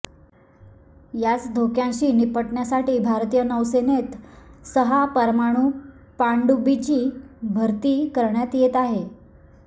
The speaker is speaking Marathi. याच धोक्यांशी निपटण्यासाठी भारतीय नौसेनेत सहा परमाणू पाणडुबींची भरती करण्यात येत अहे